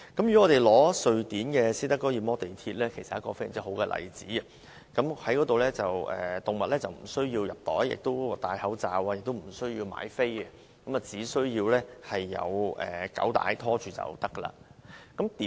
以瑞典斯德哥爾摩的地鐵為例，這是非常好的例子，動物無須藏在袋內，也無須戴口罩，更不需要買票，只要主人有狗帶牽着便可。